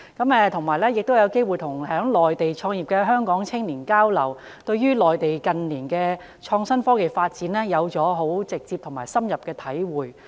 此外，我亦有機會與在內地創業的香港青年交流，對於內地近年的創新科技發展有了更直接及深刻的體會。